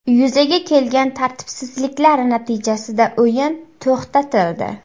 Yuzaga kelgan tartibsizliklar natijasida o‘yin to‘xtatildi.